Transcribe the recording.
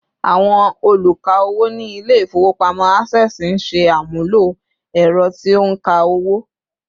Àwọn oluka owó ni ile ifowopamọ Access ńṣe àmúlò ęrọ tí ó nka owo